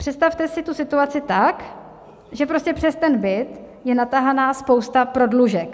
Představte si tu situaci tak, že prostě přes ten byt je natahaná spousta prodlužek.